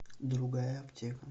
другая аптека